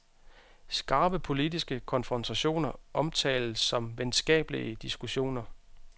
Skarpe politiske konfrontationer omtales som venskabelige diskussioner.